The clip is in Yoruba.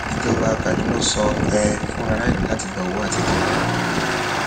ìjọba kaduna sọ um fún aráìlú láti gbà owó àtijọ